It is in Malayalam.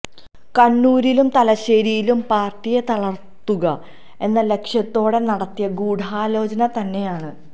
കണ്ണൂരിലും തലശ്ശേരിയിലും പാർട്ടിയെ തളർത്തുക എന്ന ലക്ഷ്യത്തോടെ നടത്തിയ ഗൂഢാലോചന തന്നെയാണ്